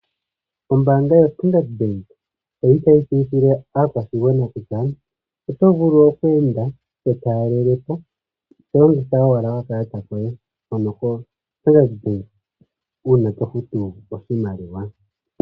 Ombaanga yo Standard bank oyili tayi tseyithile aakwashigwana kutya oto vulu okweende to taalelepo tolongitha owala okakalata koye hono ko standard bank uuna tofutu oshimaliw.